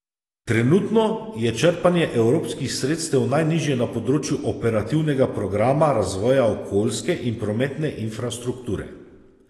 Trenutno je črpanje evropskih sredstev najnižje na področju operativnega programa razvoja okoljske in prometne infrastrukture.